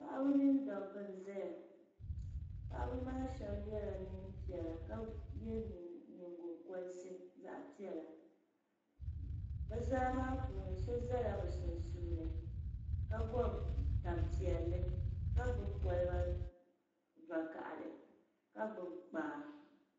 Paɣaba mini dabba n zaya paɣaba maa shɛba yɛla nɛɛn piɛlla ka yɛ nyingɔkorisi zaɣi piɛlla bɛ zaa maa puuni so zala bɛ sunsuuni ka gɔbi tani piɛlli ka gbubi kɔliba vokahali ka gbubi kpaa.